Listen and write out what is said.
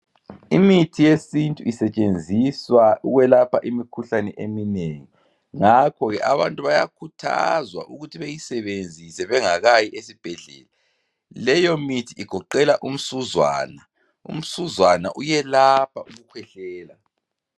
Imithi yesintu isetshenziswa ukwelapha imikhuhlane eminengi ngakho ke abantu bayakhuthazwa ukuthi beyisebenzise bengakayi ezibhedlela leyo mithi igoqela umsuzwana, umsuzwana uyelapha ukukhwehlela